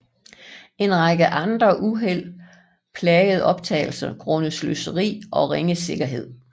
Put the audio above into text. En række andre uheld plagede optagelserne grundet sløseri og ringe sikkerhed